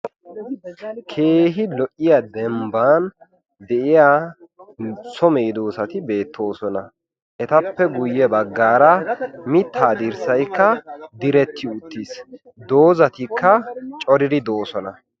Keehi lo"iya dembban de'iyaa so meedoosati beettoosona. Etappe guyyee baggaara mitta dirssaykka diretti uttiis. Doozatikka coridi doosona.